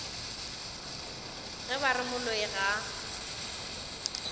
ge ba re moloi ga